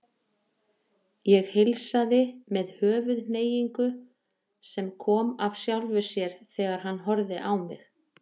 Ég heilsaði með höfuðhneigingu sem kom af sjálfu sér þegar hann horfði á mig.